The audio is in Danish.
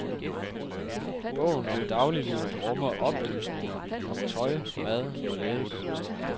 Bogen om dagliglivet rummer oplysninger om tøj, mad og lægekunst.